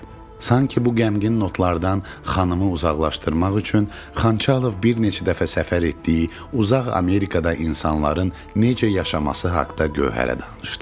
Sanki bu qəmgin notlardan xanımı uzaqlaşdırmaq üçün Xançalov bir neçə dəfə səfər etdiyi uzaq Amerikada insanların necə yaşaması haqda Gövhərə danışdı.